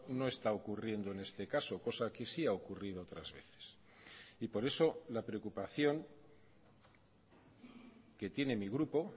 no está ocurriendo en este caso cosa que sí ha ocurrido otras veces y por eso la preocupación que tiene mi grupo